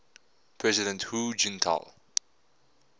president hu jintao